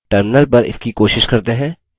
terminal पर इसकी कोशिश करते हैं